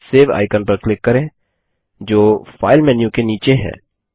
save icon पर click करें जो फाइल मेन्यू के नीचे है